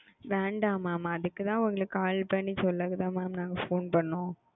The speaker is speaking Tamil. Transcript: வேண்ட mam அதுக்குதா உங்களுக்கு call பண்ணி சொல்லத phone பண்ணும்